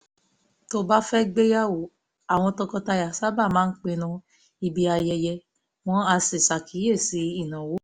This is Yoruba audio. tó bá fẹ́ gbéyàwó àwọn tọkọtaya sábà máa pinnu ibi ayẹyẹ wọ́n á sì ṣàkíyèsí ináwó